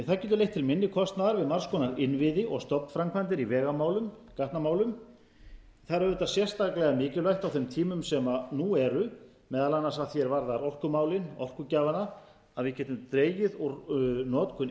það getur leitt til minni kostnaðar við margs kostnaðar innviði og stofnframkvæmdir í vegamálum gatnamálum það er auðvitað sérstaklega mikilvægt á þeim tímum sem nú árum að því er varðar orkumálin orkugjafana að við getum dregið úr notkun